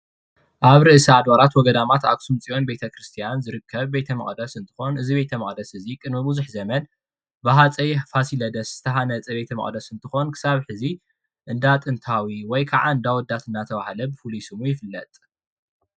ኣብ ርእሲ ኣድባራት ወገዳማት ኣክሱም ፅዮን ቤተ ክርስትያን ዝርከብ ቤተ መቅደስ እንትኮን እዚ ቤተ መቅደስ እዚ ቅድሚ ብዙሕ ዘመን ብሃፀይ ፋሲለደስ ዝተሃነፀ ቤተ መቅደስ እንትኮን ክሳብ ሕዚ እንዳ ጥንታዊ ወይ ክዓ እንዳኣወዳት እንዳተባሃለ ፍሉይ ሽሙ ይፍለጥ፡፡